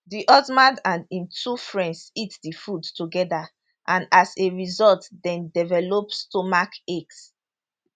di husband and im two friends eat di food together and as a result dem develop stomachaches